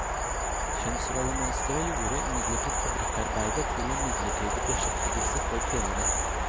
Kjønnsrollemønsteret gjorde imidlertid fabrikkarbeidet til en midlertidig beskjeftigelse for kvinnene.